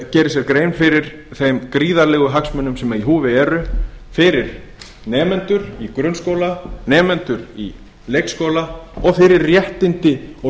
geri sér grein fyrir þeim gríðarlegu hagsmunum sem í húfi eru fyrir nemendur í grunnskóla nemendur í leikskóla og fyrir réttindi og